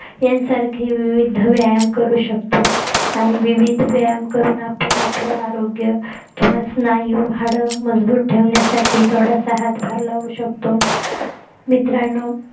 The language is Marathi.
यांसारखे विविध व्यायाम करू शकतो आणि विविध व्यायाम करून आपण आपले आरोग्य किंवा स्नायू हाडं मजबूत ठेवण्यासाठी थोडासा हातभार लावू शकतो मित्रांनो